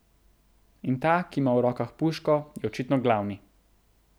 In ta, ki ima v rokah puško, je očitno glavni.